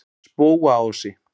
Spóaási